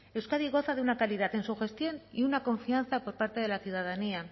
euskadi goza de una calidad en su gestión y una confianza por parte de la ciudadanía